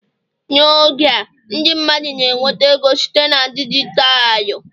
N'oge a ndị mmadụ na-enweta ego site na dijitalụ